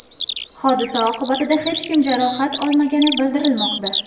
Hodisa oqibatida hech kim jarohat olmagani bildirilmoqda.